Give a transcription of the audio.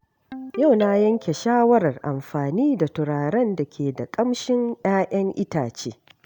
Yau na yanke shawarar amfani da turaren da ke da ƙamshin 'ya'yan itace.